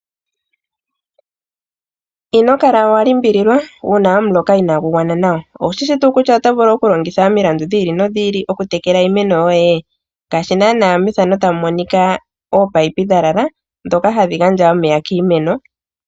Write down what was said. Inokala wa limbiliwa uuna omuloka inaagu gwan nawa owushishi tuu kutya oto vulu okulongitha omilandu dhi ili nodhi ili okutekela iimaeno yoye ngaashi naana takumonika oopayipi dha lala dhoka hadhi gandja omeya kiimeno.